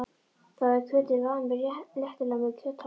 Þá er kjötið lamið léttilega til með kjöthamri.